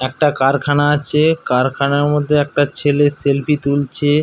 একটা কারখানা আছে কারখানার মধ্যে একটা ছেলে সেলফি তুলছে।